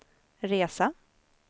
resa